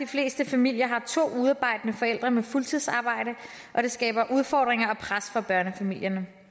fleste familier er der to udearbejdende forældre med fuldtidsarbejde og det skaber udfordringer og pres for børnefamilierne